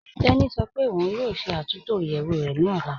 Tẹni sọ́ pé ọun yóò ṣẹ́ àtúntọ iyeẹwù rẹ ni ọlá.